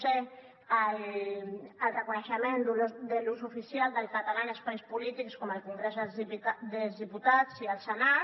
c el reconeixement de l’ús oficial del català en espais polítics com el congrés dels diputats i el senat